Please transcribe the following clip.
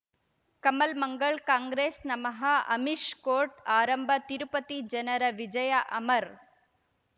ಕಮಲ್ ಮಂಗಳ್ ಕಾಂಗ್ರೆಸ್ ನಮಃ ಅಮಿಷ್ ಕೋರ್ಟ್ ಆರಂಭ ತಿರುಪತಿ ಜನರ ವಿಜಯ ಅಮರ್